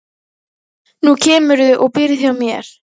Nú kemurðu og býrð hjá mér